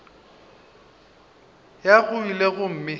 go ya go ile gomme